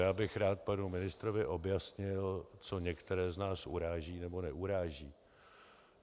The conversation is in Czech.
Já bych rád panu ministrovi objasnil, co některé z nás uráží nebo neuráží.